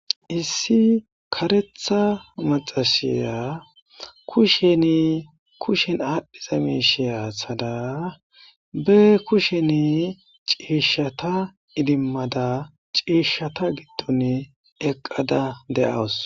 Issi karetha maxasaya kushen kushen aadhdhiza miisheya athada be kushen ciishshata idimmada ciishshata giddon eqqada de7awus.